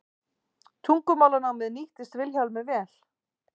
Tungumálanámið nýttist Vilhjálmi vel.